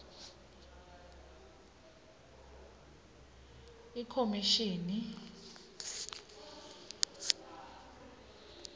ikhomishini